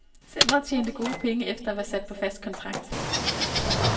Centret tjente gode penge efter at være sat på fast kontrakt.